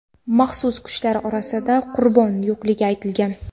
Maxsus kuchlar orasida qurbon yo‘qligi aytilgan.